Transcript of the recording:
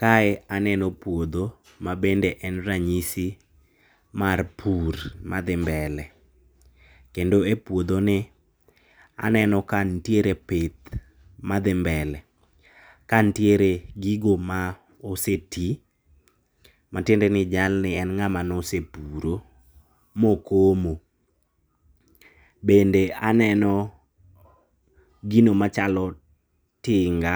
Kae aneno puodho mabende en ranyisi mar pur madhi mbele. Kendo e puodho ni, aneno ka nitiere pith madhi mbele. Ka nitiere gigo ma oseti, matiende ni jalni en ng'a ma ne osepuro ma okomo. Bende aneno gino machalo tinga,